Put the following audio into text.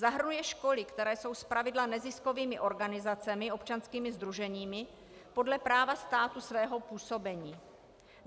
Zahrnuje školy, které jsou zpravidla neziskovými organizacemi, občanskými sdruženími podle práva státu svého působení.